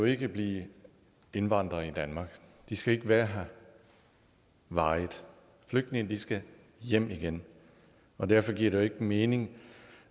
ikke blive indvandrere i danmark de skal ikke være her varigt flygtninge skal hjem igen derfor giver det ikke mening